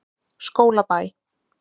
Skólabæ